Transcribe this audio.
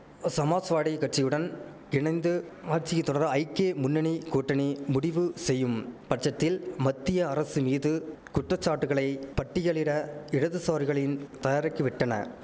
சமாஸ்வாடி கட்சியுடன் இணைந்து ஆட்சியை தொடர ஐக்கே முன்னணி கூட்டணி முடிவு செய்யும் பட்சத்தில் மத்திய அரசு மீது குற்றச்சாட்டுகளை பட்டியலிட இடதுசாரிகளின் தயராக்கிவிட்டன